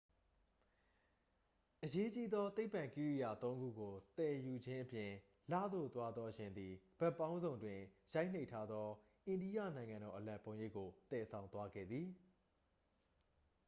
အရေးကြီးသော သိပ္ပံကိရိယာ သုံးခုကို သယ်ယူခြင်းအပြင် လသို့သွားသော ယာဉ်သည် ဘက်ပေါင်းစုံတွင် ရိုက်နှိပ်ထားသော အိန္ဒိယနိုင်ငံတော်အလံပုံရိပ်ကို သယ်ဆောင်သွားခဲ့သည်